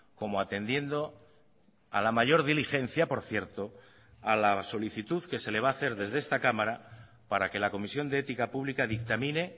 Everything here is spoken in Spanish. como atendiendo a la mayor diligencia por cierto a la solicitud que se le va a hacer desde esta cámara para que la comisión de ética pública dictamine